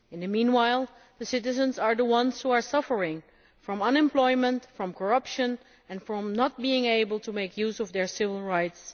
Meanwhile, citizens are the ones who are suffering from unemployment, from corruption and from not being able to make use of their civil rights.